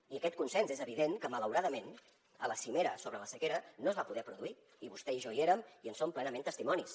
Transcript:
i aquest consens és evident que malauradament a la cimera sobre la sequera no es va poder produir i vostè i jo hi érem i en som plenament testimonis